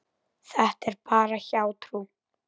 Þetta er bara hjátrú.